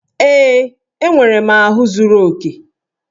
Ee, enwere m ahụ zuru oke